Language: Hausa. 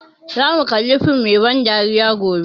Za mu kalla fim mai ban dariya gobe